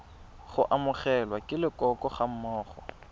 go amogelwa ke leloko gammogo